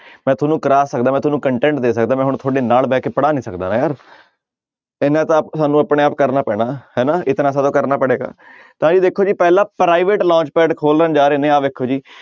ਮੈਂ ਤੁਹਾਨੂੰ ਕਰਵਾ ਸਕਦਾ ਮੈਂ ਤੁਹਾਨੂੰ content ਦੇ ਸਕਦਾ ਮੈਂ ਹੁਣ ਤੁਹਾਡੇ ਨਾਲ ਬਹਿ ਕੇ ਪੜ੍ਹਾ ਨੀ ਸਕਦਾ ਇੰਨਾ ਤਾਂ ਸਾਨੂੰ ਆਪਣੇ ਆਪ ਕਰਨਾ ਪੈਣਾ ਹਨਾ ਇਤਨਾ ਸੋ ਤੋ ਕਰਨਾ ਪੜੇਗਾ ਤਾਂ ਇਹ ਦੇਖੋ ਜੀ ਪਹਿਲਾ private launch pad ਖੋਲਣ ਜਾ ਰਹੇ ਨੇ ਆਹ ਵੇਖੋ ਜੀ